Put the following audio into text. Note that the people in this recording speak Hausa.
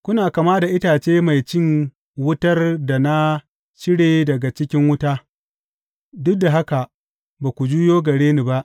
Kuna kama da itace mai cin wutar da na cire daga cikin wuta, duk da haka ba ku juyo gare ni ba,